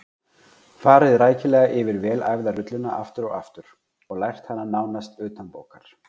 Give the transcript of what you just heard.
Farið rækilega yfir vel æfða rulluna aftur og aftur og lært hana nánast utanbókar.